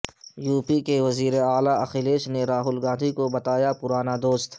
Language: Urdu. یوپی کے وزیر اعلی اکھلیش نے راہل گاندھی کو بتایا پرانا دوست